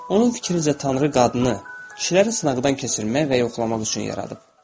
Onun fikrincə Tanrı qadını kişiləri sınaqdan keçirmək və yoxlamaq üçün yaradıb.